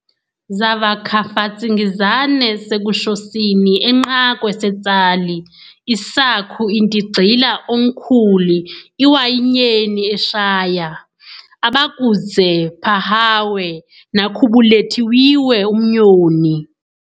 Zavakhafatsingizane seKushosini enqakwe seTsali, isakhu-intigxila oNkhuli iWayinyeni eShaya, abakudze-phahawe nakhubulethiwiwe umnyoni.